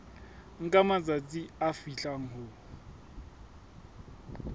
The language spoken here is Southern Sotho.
nka matsatsi a fihlang ho